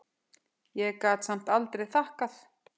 Ég gat samt aldrei þakkað